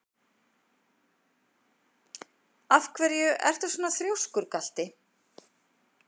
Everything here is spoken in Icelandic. Af hverju ertu svona þrjóskur, Galti?